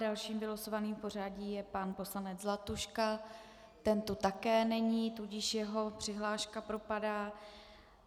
Dalším vylosovaným v pořadí je pan poslanec Zlatuška, ten tu také není, tudíž jeho přihláška propadá.